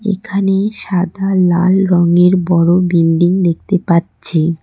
এখানে সাদা লাল রঙের বড় বিল্ডিং দেখতে পাচ্ছি।